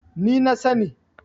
ni na sani